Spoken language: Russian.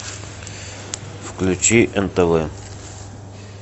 включи нтв